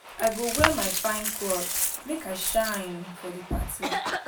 I go wear my fine cloth, make I shine for di party.